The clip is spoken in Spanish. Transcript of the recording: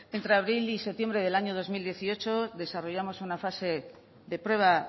entre abril y septiembre del año dos mil dieciocho desarrollamos una fase de prueba